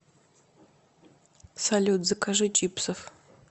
салют закажи чипсов